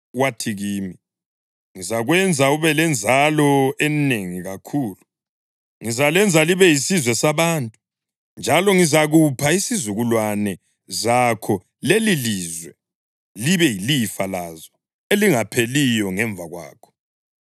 Wathi kimi, ‘Ngizakwenza ube lenzalo enengi kakhulu. Ngizalenza libe yisizwe sabantu, njalo ngizakupha izizukulwane zakho lelilizwe libe yilifa lazo elingapheliyo ngemva kwakho.’